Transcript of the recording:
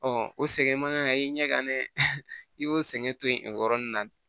o sɛgɛn man kan ka ɲɛ ka ɲɛ i y'o sɛgɛn to yen o yɔrɔnin na